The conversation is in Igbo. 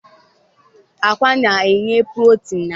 Agwa Na-enye Protin na ahu